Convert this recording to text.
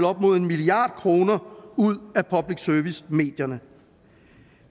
op mod en milliard kroner ud af public service medierne